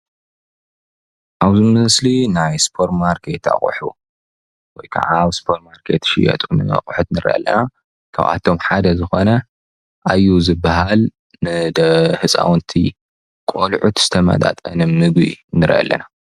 ኣብዚ ምስሊ ናይ ስፖርማርኬት ኣቁሑ ወይከዓ ኣብ ስፖርማርኬት ዝሽየጡ ኣቁሑት ንርኢ ኣለና ካብኣቶማ ሓደ ዝኮነ ኣዩ ዝባሃል ንህፃውንቲ ቆልዑት ዝተመጣጠነ ምግቢ ንርኢ ኣለና።